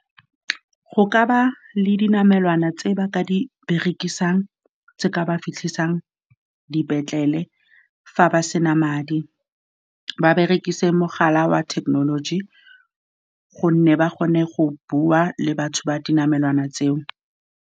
Go ka ba le dinamelwana tse ba ka di berekisang, tse di ka fitlhisang dipetlele fa ba sena madi. Ba berekise mogala wa thekenoloji, gonne ba kgone go bua le batho ba dinamelwana tseo.